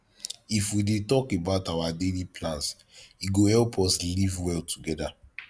if we dey talk about our daily plans e go help us live well together